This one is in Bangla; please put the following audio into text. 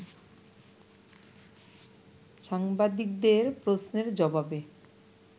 সাংবাদিকদের প্রশ্নের জবাবে